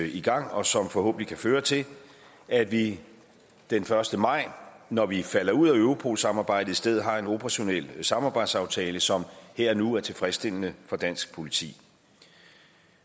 i gang og som forhåbentlig kan føre til at vi den første maj når vi falder ud af europolsamarbejdet i stedet har en operationel samarbejdsaftale som her og nu er tilfredsstillende for dansk politi